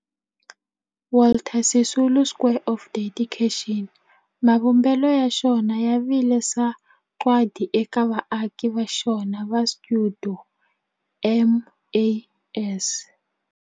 Walter Sisulu Square of Dedication, mavumbelo ya xona ya vile sagwadi eka vaaki va xona va stuidio MAS.